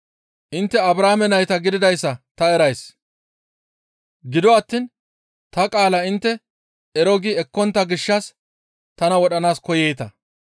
Intte Abrahaame nayta gididayssa ta erays; gido attiin ta qaala intte ero gi ekkontta gishshas tana wodhanaas koyeeta.